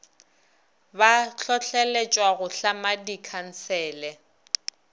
ba hlohleletšwa go tlhama dikhansele